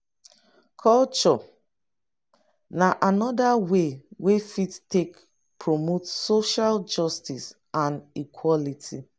culture na anoda way wey fit take promote social justice and equality